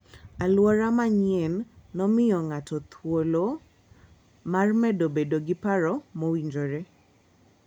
Alwora manyienno miyo ng'ato thuolo mar medo bedo gi paro mowinjore.